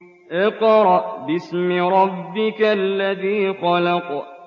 اقْرَأْ بِاسْمِ رَبِّكَ الَّذِي خَلَقَ